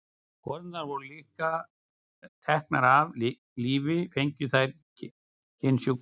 Konurnar voru líka teknar af lífi fengju þær kynsjúkdóma.